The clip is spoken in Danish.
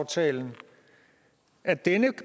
til at dele